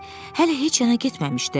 Hələ heç hara getməmişdi.